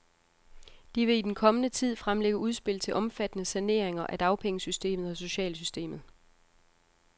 De vil i den kommende tid fremlægge udspil til omfattende saneringer af dagpengesystemet og socialsystemet.